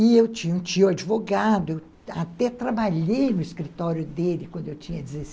E eu tinha um tio advogado, até trabalhei no escritório dele quando eu tinha deze